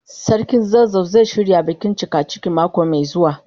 Sarkin zazzau zai shirya bikin cikaciki mako mai zuwa.